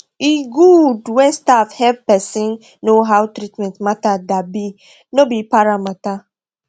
e good when staff hep pesin know how treatment matter da be no be para matter